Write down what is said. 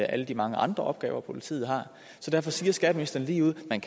alle de mange andre opgaver politiet har så derfor siger skatteministeren ligeud at man